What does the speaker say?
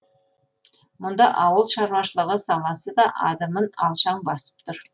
мұнда ауыл шаруашылығы саласы да адымын алшаң басып тұр